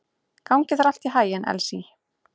Gangi þér allt í haginn, Elsý.